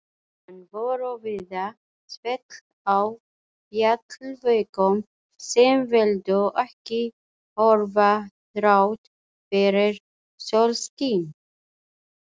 Enn voru víða svell á fjallvegum sem vildu ekki hörfa þrátt fyrir sólskin.